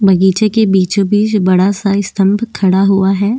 बगीचों के बीचो-बीच बड़ा सा अस्थ्म खड़ा हुआ है।